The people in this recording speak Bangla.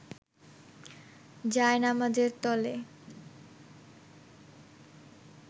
জায়নামাজের তলে